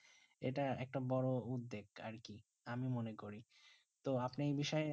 যেটা একটা বোরো উদ্বেগ আর কি আমি মনে করি তো আপনি এই বিষয়